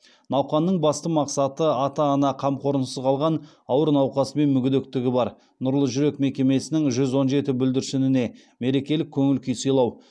науқанның басты мақсаты ата ана қамқорлығынсыз қалған ауыр науқасы мен мүгедектігі бар нұрлы жүрек мекемесінің жүз он жеті бүлдіршініне мерекелік көңіл күй сыйлау